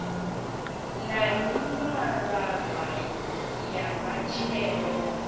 na mimaraga ya matshelo ya